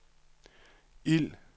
ild